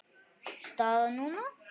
Staðan núna?